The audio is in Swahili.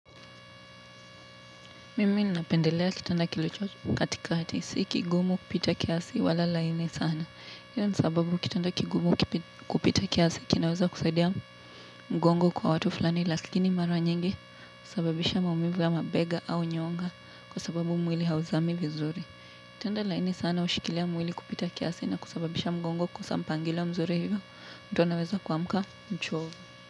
Mimi ninapendelea kitanda kilicho katikati si kigumu kupita kiasi wala laini sana. Hio ni sababu kitanda kigumu kupita kiasi kinaweza kusaidia mgongo kwa watu fulani lakini mara nyingi husababisha maumivu ya mabega au nyonga kwa sababu mwili hauzami vizuri kitanda laini sana hushikilia mwili kupita kiasi na kusababisha mgongo kukosa mpangilo mzuri hivyo mtu anaweza kuamka mchovu.